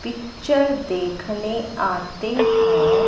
Picture देखने आते हैं।